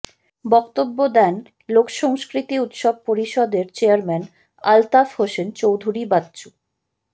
বক্তব্য দেন লোকসংস্কৃতি উৎসব পরিষদের চেয়ারম্যান আলতাফ হোসেন চৌধুরী বাচ্চু